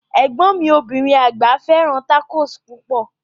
Egbọn mi obirin agba fẹràn tacos pupọ.